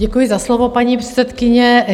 Děkuji za slovo, paní předsedkyně.